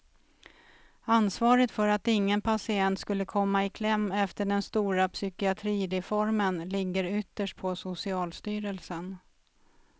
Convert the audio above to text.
Ansvaret för att ingen patient skulle komma i kläm efter den stora psykiatrireformen ligger ytterst på socialstyrelsen.